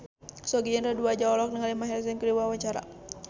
Sogi Indra Duaja olohok ningali Maher Zein keur diwawancara